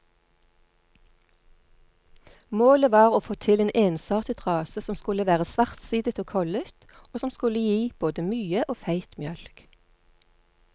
Målet var å få til en ensartet rase som skulle være svartsidet og kollet, og som skulle gi både mye og feit mjølk.